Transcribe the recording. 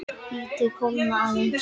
Látið kólna aðeins.